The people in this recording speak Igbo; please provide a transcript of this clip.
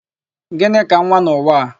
Gịnị ka nwa n'ụwa a?